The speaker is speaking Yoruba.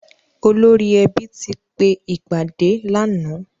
Olórí ẹbí ti pe ìpàdé lànáà.